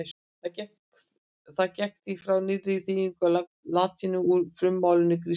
Hann gekk því frá nýrri þýðingu á latínu úr frummálinu grísku.